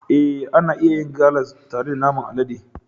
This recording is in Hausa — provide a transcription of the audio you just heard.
Ee, ana iya yin galas tare da naman alade.